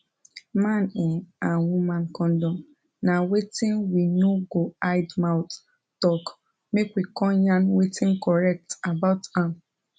man ehnn and woman condom na wetin we no go hide mouth talk make we come yarn wetin correct about am